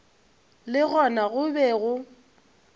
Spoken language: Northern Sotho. le gona go be go